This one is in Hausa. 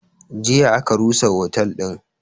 Jiya aka rusa otel din